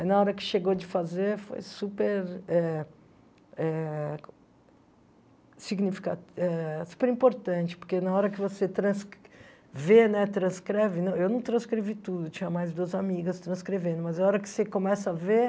Aí na hora que chegou de fazer, foi super eh eh... significa eh super importante, porque na hora que você trans vê né transcreve... Não, eu não transcrevi tudo, tinha mais duas amigas transcrevendo, mas na hora que você começa a ver...